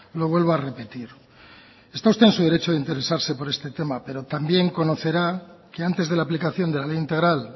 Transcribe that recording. lo vuelvo a repetir está usted en su derecho de interesarse por este tema pero también conocerá que antes de la aplicación de la ley integral